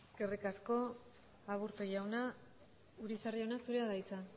eskerrik asko aburto jauna urizar jauna zurea da hitza